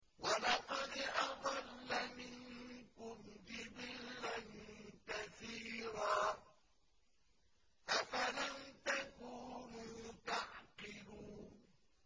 وَلَقَدْ أَضَلَّ مِنكُمْ جِبِلًّا كَثِيرًا ۖ أَفَلَمْ تَكُونُوا تَعْقِلُونَ